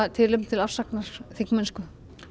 tilefni til afsagnar þingmennsku